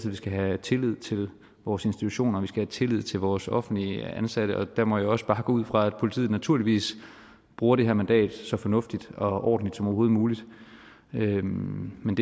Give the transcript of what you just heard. at vi skal have tillid til vores institutioner vi skal have tillid til vores offentligt ansatte og der må jeg også bare gå ud fra at politiet naturligvis bruger det her mandat så fornuftigt og ordentligt som overhovedet muligt men men